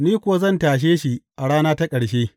Ni kuwa zan tashe shi a rana ta ƙarshe.